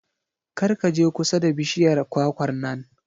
Kar ka je kusa da bishiyar kwakwar nan.